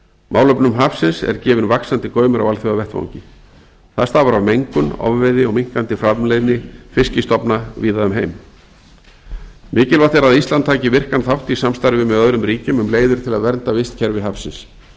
málefnum hafsins er gefinn vaxandi gaumur á alþjóðavettvangi það stafar af mengun ofveiði og minnkandi framleiðni fiskstofna víða um heim mikilvægt er að ísland taki virkan þátt í samstarfi með öðrum ríkjum um leiðir til að vernda vistkerfi hafsins